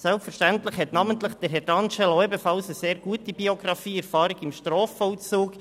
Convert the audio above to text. Selbstverständlich verfügt Herr D’Angelo ebenfalls über eine sehr gute Biografie und Erfahrung im Strafvollzug.